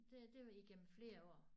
Det det var igennem flere år